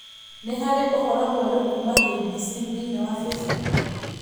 Nĩ harĩ ũhoro mwerũ kuuma K.B.C. thĩinĩ wa Facebook?